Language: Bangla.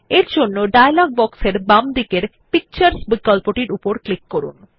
তাই ডায়লগ বক্সের বাম দিকের পিকচার্স বিকল্পটির উপর ক্লিক করুন